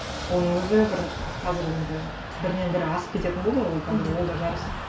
оның өзі бір қазір енді бірінен бірі асып кететін болды ғой ол қазір ол да жарыс